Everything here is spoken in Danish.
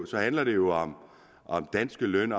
så handler det jo om danske løn